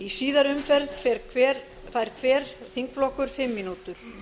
í síðari umferð fær hver þingflokkur fimm mínútur